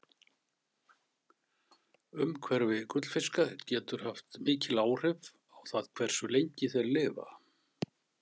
Umhverfi gullfiska getur haft mikil áhrif á það hversu lengi þeir lifa.